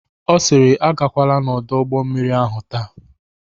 Ọ sịrị "Agakwala n'ọdụ ụgbọmmiri ahụ taa""